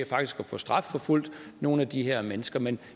faktisk få strafforfulgt nogle af de her mennesker men